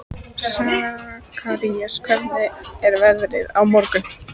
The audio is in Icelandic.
Sakarías, hvernig er veðrið á morgun?